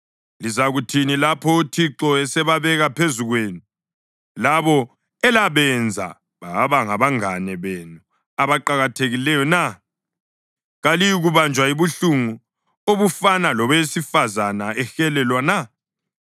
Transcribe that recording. Lizakuthini lapho uThixo esebabeka phezu kwenu labo elabenza babangabangane benu abaqakathekileyo na? Kaliyikubanjwa yibuhlungu obufana lobowesifazane ehelelwa na?